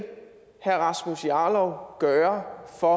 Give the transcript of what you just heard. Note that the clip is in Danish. herre rasmus jarlov gøre for